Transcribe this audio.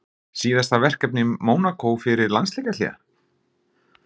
Síðasta verkefni Mónakó fyrir landsleikjahlé?